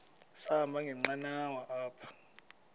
sahamba ngenqanawa apha